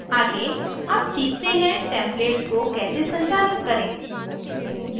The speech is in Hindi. आगे अब सीखते हैं templates को कैसे संचालित करें